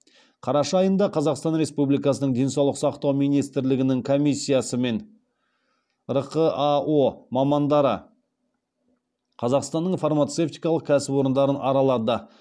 қараша айында қазақстан республикасының денсаулық сақтау министрлігінің комиссиясы мен рқао мамандары қазақстанның фармацевтикалық кәсіпорындарын аралады